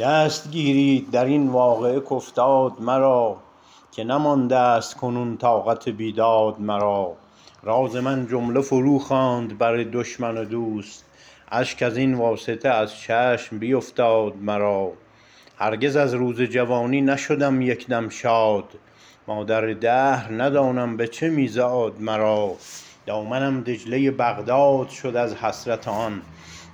دست گیرید درین واقعه کافتاد مرا که نماندست کنون طاقت بیداد مرا راز من جمله فرو خواند بر دشمن و دوست اشک ازین واسطه از چشم بیفتاد مرا هرگز از روز جوانی نشدم یکدم شاد مادر دهر ندانم بچه می زاد مرا دامنم دجله ی بغداد شد از حسرت آن